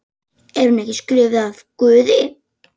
Er hún ekki skrifuð af Guði?